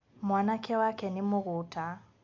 Mwanake wake nĩ mũgũta